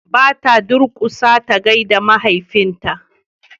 ba ta durkusa ta gaida mahaifin ta ba